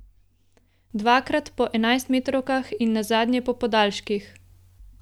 Dvakrat po enajstmetrovkah in nazadnje po podaljških.